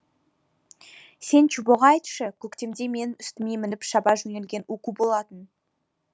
сен чубоға айтшы көктемде менің үстіме мініп шаба жөнелген уку болатын